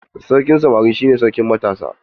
Sarkin samari shi ne sarkin matasa.